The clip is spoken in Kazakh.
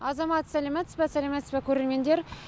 азамат сәлематсыз ба сәлематсыз ба көрермендер